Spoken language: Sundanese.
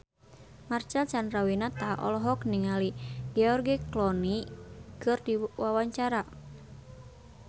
Marcel Chandrawinata olohok ningali George Clooney keur diwawancara